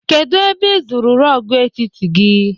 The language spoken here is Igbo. Kedụ ebe ị zụrụ rọọgụ etiti gị?